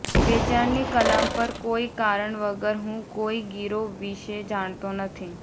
વેચાણની કલમ પર કોઈ કારણ વગર હું કોઈ ગીરો વિષે જાણતો નથી